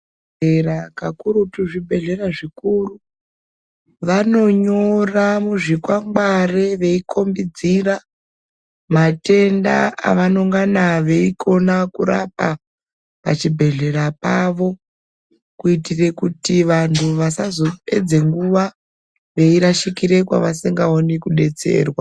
Era kakurutu zvibhedhlera zvikuru vanonyora muzvikwangwari veikombidzira matenda avanongana veikona kurapa pachibhedhlera pawo kuitire kuti vantu vasazopedze nguwa veirashikirw kwevasingaoni kudetserwa.